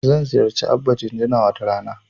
Zan ziyarci Abba Jinjina wata rana.